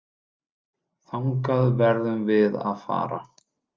Þangað verðum við að fara.